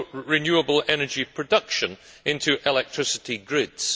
renewable energy production into electricity grids.